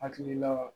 Hakilila